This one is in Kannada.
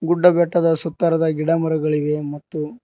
ಗುಡ್ಡ ಬೆಟ್ಟದ ಸುತ್ತರದ ಗಿಡಮರಗಳಿಗೆ ಮತ್ತು--